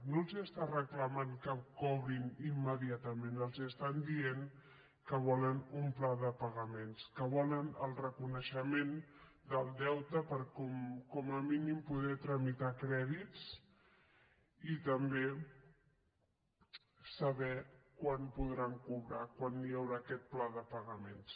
no els estan reclamant que cobrin immediatament els estan dient que volen un pla de pagaments que volen el reconeixement del deute per com a mínim poder tramitar crèdits i també saber quan podran cobrar quan hi haurà aquest pla de pa gaments